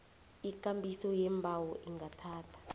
ikambiso yeembawo ingathatha